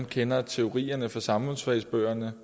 kender teorierne fra samfundsfagsbøgerne